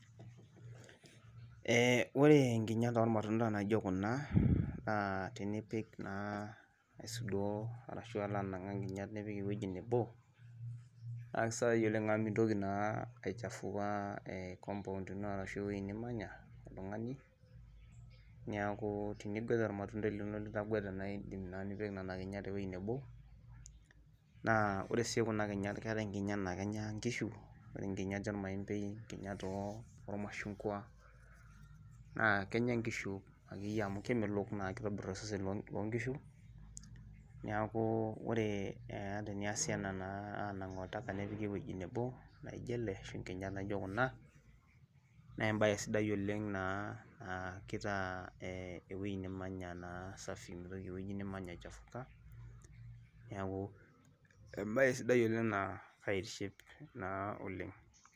Ee ore nkinyat olmatunda naijo Kuna, naa tenipik naa aisudoi, arashu alo anang'aa nkinyat nipik ewueji nebo, naa kisidai oleng amu mintoki naa aichafua compound ino ashu ewueji nimanya, oltungani neeku tenipik olmatundai lino litaguata naa idim naa nipik Nena kinyat ene wueji nebo. Naa ore sii Kuna kinyat keetae nkinyat naa Kenya nkishu, nkinyat olmaembei nkinyat ilmashungua, naa. Kenya nkishu akeyie amu kemelok kitobir osesen loo nkishu, niaku ore naa teniasi ena naa, aanang olchampa nepiki ewueji nebo, laijo ele ashu nkinyat naijo Kuna, naa ebae sidai oleng naa kitaa ewueji nemanya naa safi. mitoki ewueji nimanya aichafuka. niaku ebae sidai oleng naa kaitiship naa oleng.